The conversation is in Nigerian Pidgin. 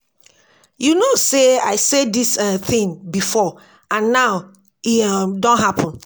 You know say I say dis um thing before and now e um don happen